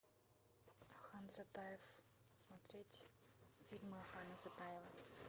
ахан сатаев смотреть фильмы ахана сатаева